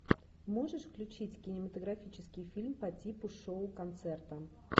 можешь включить кинематографический фильм по типу шоу концерта